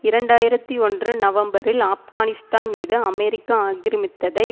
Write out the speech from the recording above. இரண்டு ஆயிரத்தி ஒன்று நவம்பரில் ஆப்கானிஸ்தான் மீது அமெரிக்கா ஆக்கிரமித்ததை